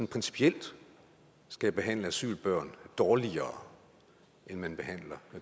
principielt skal behandle asylbørn dårligere end man behandler